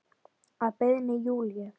Að beiðni Júlíu.